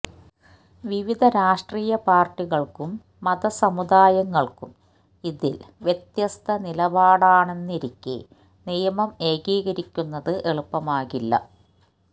വിവിധ രാഷ്ട്രീയ പാർട്ടികൾക്കും മത സമുദായങ്ങൾക്കും ഇതിൽ വ്യത്യസ്ത നിലപാടാണെന്നിരിക്കെ നിയമം ഏകീകരിക്കുന്നത് എളുപ്പമാകില്ല